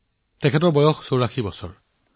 তেওঁৰ বয়স ৮৪ বছৰ